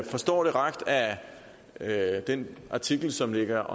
forstår det ret af den artikel som ligger